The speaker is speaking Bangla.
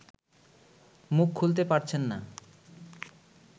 মুখ খুলতে পারছেন না